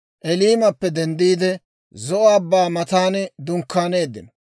Eliimappe denddiide, Zo'o Abbaa matan dunkkaaneeddino.